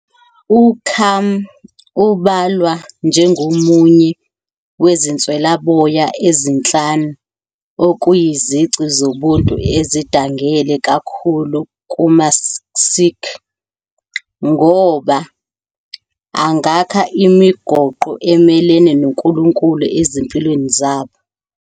UKaam ubalwa njengomunye ' Wezinswelaboya Ezinhlanu ', okuyizici zobuntu ezidangele kakhulu kumaSikh, ngoba "angakha imigoqo emelene noNkulunkulu ezimpilweni zabo".